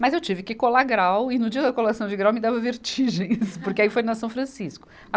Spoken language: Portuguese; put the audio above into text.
Mas eu tive que colar grau, e no dia da colação de grau me dava vertigem isso, porque aí foi na São Francisco.